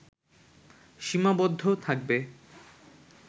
সীমাবদ্ধ থাকবে